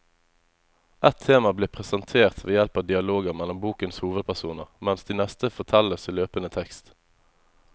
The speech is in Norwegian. Ett tema blir presentert ved hjelp av dialoger mellom bokens hovedpersoner, mens det neste fortelles i løpende tekst.